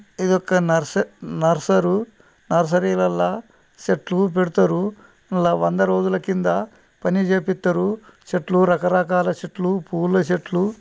ఇది ఒక నర్స్-నర్స్రరు నర్సరీ వల్లసెట్లు పెడతారు వంద రోజులు కింద పని చెపిత్తరు చెట్లు రకరకాలు చెట్లు పూలు చెట్లు --